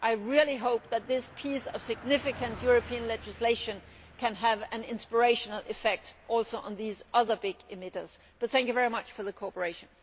I hope that this piece of significant European legislation can have an inspirational effect on these other big emitters too. Thank you very much for your cooperation.